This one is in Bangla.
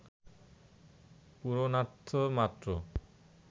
পূরণার্থ মাত্র